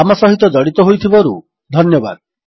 ଆମ ସହିତ ଜଡିତ ହୋଇଥିବାରୁ ଧନ୍ୟବାଦ